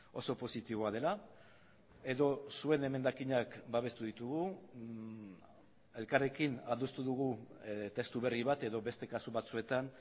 oso positiboa dela edo zuen emendakinak babestu ditugu elkarrekin adostu dugu testu berri bat edo beste kasu batzuetan